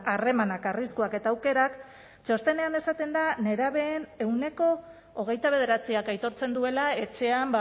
harremanak arriskuak eta aukerak txostenean esaten da nerabeen ehuneko hogeita bederatziak aitortzen duela etxean